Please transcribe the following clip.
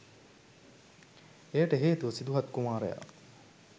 එයට හේතුව සිදුහත් කුමාරයා